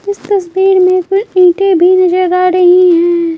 इस तस्वीर में बर ईटे भी नजर आ रही हैं।